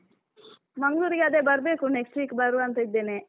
ಮಂಗ್ಳೂರಿಗೆ ಅದೇ ಬರ್ಬೇಕು next week ಬರುವ ಅಂತ ಇದ್ದೇನೆ.